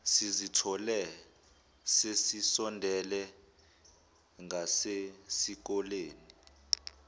sizithole sesisondele ngasesikoleni